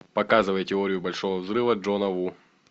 показывай теорию большого взрыва джона ву